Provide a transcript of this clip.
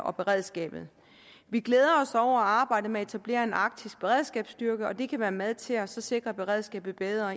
og beredskabet vi glæder os over arbejdet med at etablere en arktisk beredskabsstyrke og det kan være med til at sikre beredskabet bedre